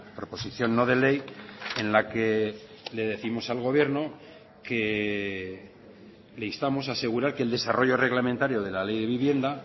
proposición no de ley en la que le décimos al gobierno que le instamos a asegurar que el desarrollo reglamentario de la ley de vivienda